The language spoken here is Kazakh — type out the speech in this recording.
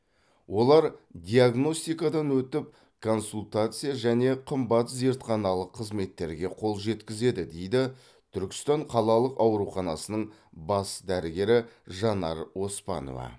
олар диагностикадан өтіп консультация және қымбат зертханалық қызметтерге қол жеткізеді дейді түркістан қалалық ауруханасының бас дәрігері жанар оспанова